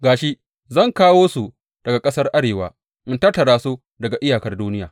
Ga shi, zan kawo su daga ƙasar arewa in tattara su daga iyakar duniya.